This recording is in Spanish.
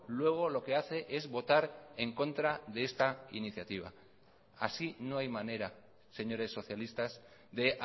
luego lo que hace es votar en contra de esta iniciativa así no hay manera señores socialistas de